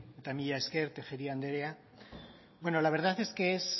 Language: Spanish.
eta mila esker tejeria andrea la verdad es que